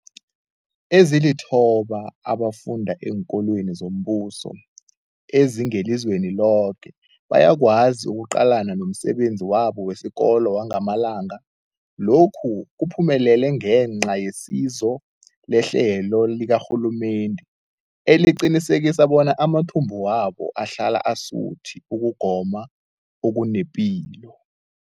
eEwangamalanga. Lokhu kuphumelele ngenca yesizo lehlelo likarhulumende eliqinisekisa bona amathumbu wabo ahlala asuthi ukugoma okunepilo.